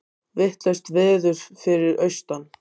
Vitlaust veður fyrir austan